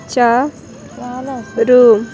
చా-- రు.